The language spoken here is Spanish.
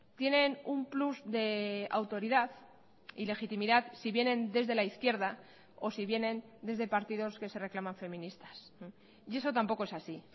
tienen un plus de autoridad y legitimidad si vienen desde la izquierda o si vienen desde partidos que se reclaman feministas y eso tampoco es así